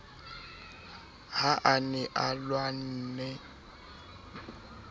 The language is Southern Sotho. ha a ne a lwanne